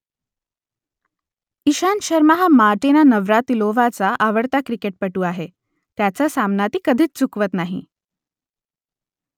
इशांत शर्मा हा मार्टिना नवरातिलोव्हाचा आवडता क्रिकेटपटू आहे , त्याचा सामना ती कधीच चुकवत नाही